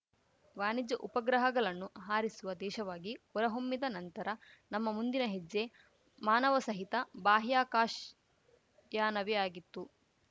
ವಾಣಿಜ್ಯ ಉಪಗ್ರಹಗಲನ್ನು ಹಾರಿಸುವ ದೇಶವಾಗಿ ಹೊರಹೊಮ್ಮಿದ ನಂತರ ನಮ್ಮ ಮುಂದಿನ ಹೆಜ್ಜೆ ಮಾನವಸಹಿತ ಬಾಹ್ಯಾಕಾಶಯಾನವೇ ಆಗಿತ್ತು